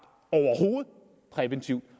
præventivt